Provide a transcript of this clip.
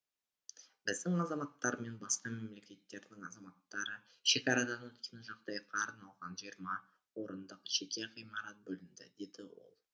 біздің азаматтар мен басқа мемлекеттердің азаматтары шекарадан өткен жағдайға арналған жиырма орындық жеке ғимарат бөлінді деді ол